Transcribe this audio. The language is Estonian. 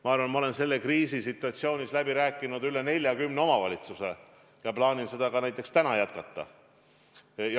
Ma arvan, et ma olen selles kriisisituatsioonis läbi rääkinud rohkem kui 40 omavalitsusega ja plaanin seda ka näiteks täna jätkata.